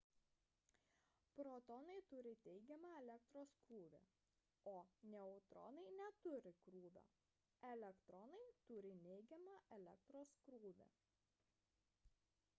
protonai turi teigiamą elektros krūvį o neutronai neturi krūvio elektronai turi neigiamą elektros krūvį